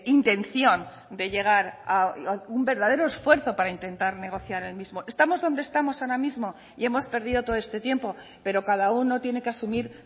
intención de llegar un verdadero esfuerzo para intentar negociar el mismo estamos donde estamos ahora mismo y hemos perdido todo este tiempo pero cada uno tiene que asumir